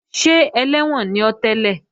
Ṣé ẹlẹ́wọ̀n ni ọ́ tẹ́lẹ̀?